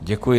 Děkuji.